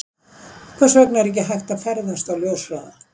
Hvers vegna er ekki hægt að ferðast á ljóshraða?